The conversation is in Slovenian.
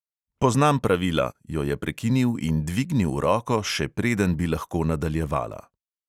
"Poznam pravila," jo je prekinil in dvignil roko, še preden bi lahko nadaljevala.